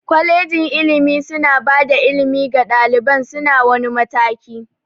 Kwalegin ilimi suna bada ilimi ga ɗaliban su na wani mataki